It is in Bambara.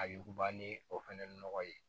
A yuguba ni o fɛnɛ nɔgɔ ye